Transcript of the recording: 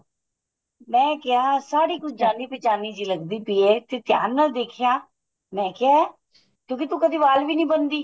ਮੈਂ ਕਿਹਾ ਸਾੜੀ ਕੁੱਝ ਜਾਨੀ ਪਿਹਚਾਨੀ ਲੱਗਦੀ ਪੀ ਏ ਤੇ ਧਿਆਨ ਨਾਲ ਦੇਖਿਆ ਮੈਂ ਕਿਹਾ ਕਿਉਂਕਿ ਤੂੰ ਕਦੀ ਵਾਲ ਵੀ ਨਹੀਂ ਬੰਨਦੀ